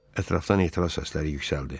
Ətrafdan etiraz səsləri yüksəldi.